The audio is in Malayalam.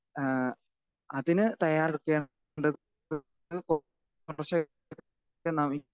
സ്പീക്കർ 2 ഏഹ് അതിന് തയ്യാറെടുക്കേണ്ടത്